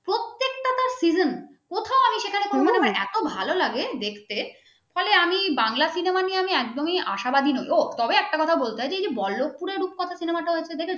মানে এত ভালো লাগে দেখতে ফলে আমি বাংলা cinema নিয়ে একদমই আশাবাদী নয় ও তবে একটা কথা বলতে হয় এই যে বল্লভপুরে রূপকথা cinema টা দেখেছো